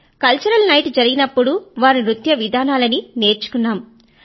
cultural night జరిగినప్పుడు వారి నృత్య విధానాలనీ వాటినీ నేర్చుకున్నాము